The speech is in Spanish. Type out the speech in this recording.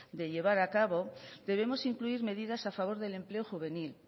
de llevar a cabo debemos incluir medidas a favor del empleo juvenil